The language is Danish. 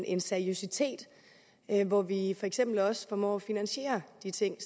en seriøsitet hvor vi for eksempel også formår at finansiere de ting